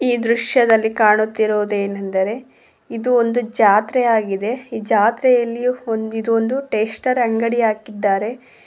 ಈ ದೃಶ್ಯದಲ್ಲಿ ಕಾಣುತ್ತಿರುವುದು ಏನೆಂದರೆ ಇದು ಒಂದು ಜಾತ್ರೆ ಆಗಿದೆ ಈ ಜಾತ್ರೆಯಲ್ಲಿಯೂ ಒಂದ್ ಇದು ಒಂದು ಸ್ಟೇಷನರಿ ಅಂಗಡಿ ಹಾಕಿದ್ದಾರೆ.